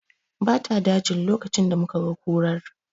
Ba ta dajin lokacin da muka ga kurar